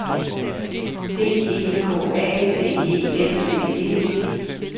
D E K A D E N C E